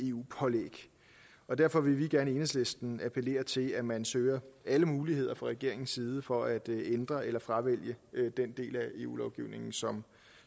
eu pålæg og derfor vil vi gerne i enhedslisten appellere til at man søger alle muligheder fra regeringens side for at ændre eller fravælge den del af eu lovgivningen som